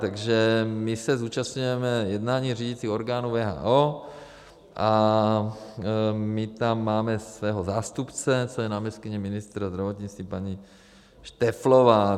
Takže my se zúčastňujeme jednání řídících orgánů WHO a my tam máme svého zástupce, což je náměstkyně ministra zdravotnictví paní Šteflová.